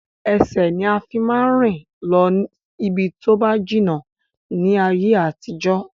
Ẹsẹ̀ ni a fi máa ń rìn lọ ibi tóba jìnnà ni ayé àtijọ́